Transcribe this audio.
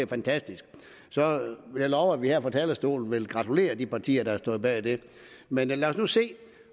fantastisk så vil jeg love at vi her fra talerstolen vil gratulere de partier der står bag det men lad os nu se